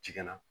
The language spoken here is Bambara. Cikɛ na